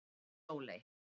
Sóley